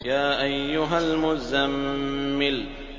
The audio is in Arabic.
يَا أَيُّهَا الْمُزَّمِّلُ